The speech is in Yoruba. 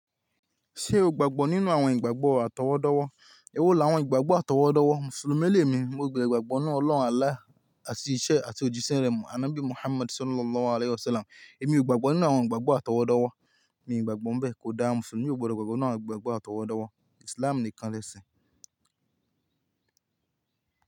Ṣé o gbàgbọ́ nínú àwọn ìgbàgbọ́ àtọwọ́dọ́wọ́? Èwo la àwọn ìgbàgbọ́ àtọwọ́dọ́wọ́? Mùsùlùmí lé mi, mo gbàgbọ́ ní Ọlọ́run Allah, àti iṣẹ́ àti òjíṣẹ́ rẹ̀ mọ́ Aná bí Muhammad Sallallahu Alaihi Wasallam. Èmi ò gbàgbọ́ nínú àwọn ìgbàgbọ́ àtọwọ́dọ́wọ́. Mi ò gbàgbọ́ bẹ́ẹ̀ kó dáa Mùsùlùmí ò gbọdọ̀ gbàgbọ́ nínú àwọn ìgbàgbọ́ àtọwọ́dọ́wọ́. Islam nìkan lẹ́sìn.